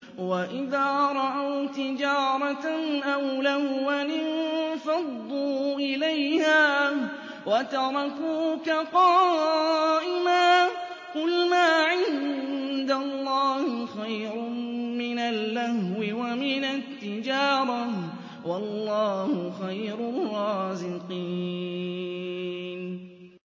وَإِذَا رَأَوْا تِجَارَةً أَوْ لَهْوًا انفَضُّوا إِلَيْهَا وَتَرَكُوكَ قَائِمًا ۚ قُلْ مَا عِندَ اللَّهِ خَيْرٌ مِّنَ اللَّهْوِ وَمِنَ التِّجَارَةِ ۚ وَاللَّهُ خَيْرُ الرَّازِقِينَ